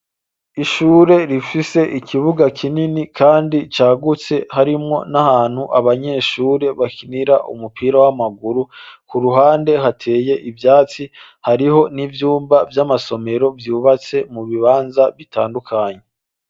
Ishure rifise ikibuga kinini kandi cagutse. Harimwo n'ahantu abanyeshure bakinira umupira w'amaguru. K'uruhande hateye ivyatsi hariho n'ivyumba vy'amasomero vyubatse mu bibanza bitandukanye.